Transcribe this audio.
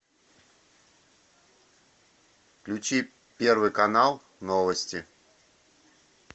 включи первый канал новости